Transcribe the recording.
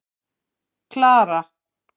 Klara